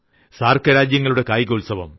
സാർക്ക് രാജ്യങ്ങളുടെ കായികോത്സവം